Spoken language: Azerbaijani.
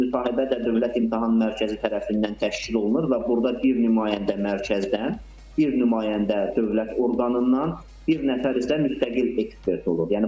Müsahibə də Dövlət İmtahan Mərkəzi tərəfindən təşkil olunur və burda bir nümayəndə mərkəzdən, bir nümayəndə dövlət orqanından, bir nəfər isə müstəqil ekspert olur.